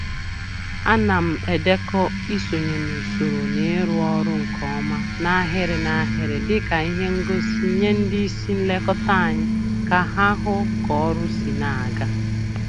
Ana m edekọ isonye n'usoro na ịrụ ọrụ nke ọma n'ahịrị n'ahịrị dịka ihe ngosi nye ndị isi nlekọta anyị ka ha hụ k'ọrụ si na-aga